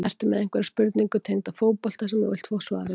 Ertu með einhverja spurningu tengda fótbolta sem þú vilt fá svar við?